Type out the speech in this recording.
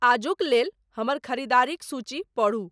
आजुक लेल हमर ख़रीदारीक सूची पढू